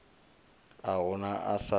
a hu na a sa